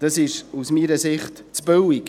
Das ist aus meiner Sicht zu billig.